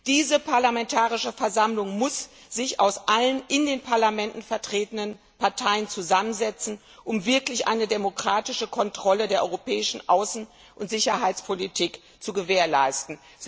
Diese Parlamentarische Versammlung muss sich aus allen in den Parlamenten vertretenen Parteien zusammensetzen, um wirklich eine demokratische Kontrolle der Europäischen Außen und Sicherheitspolitik zu gewährleisten.